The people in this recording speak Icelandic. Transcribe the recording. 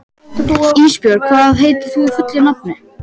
Ísbjörg, hvað heitir þú fullu nafni?